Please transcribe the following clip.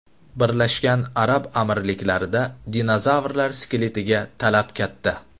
Birlashgan Arab Amirliklarida dinozavrlar skeletiga talab katta.